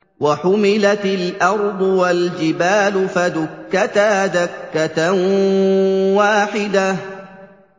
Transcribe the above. وَحُمِلَتِ الْأَرْضُ وَالْجِبَالُ فَدُكَّتَا دَكَّةً وَاحِدَةً